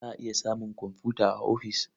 Za a iya samun komfuta a ofis.